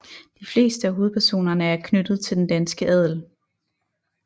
De fleste af hovedpersonerne er knyttet til den danske adel